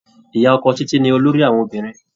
Ìyá ọkọ Títí ni olóríh àwọn obìnrin.